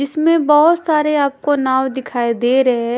इसमें बहोत सारे आपको नाव दिखाई दे रहे हैं।